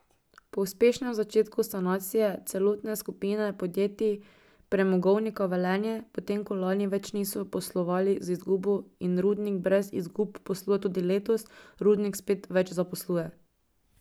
Po uspešnem začetku sanacije celotne skupine podjetij Premogovnika Velenje, potem, ko lani več niso poslovali z izgubo in rudnik brez izgub posluje tudi letos, rudnik spet več zaposluje.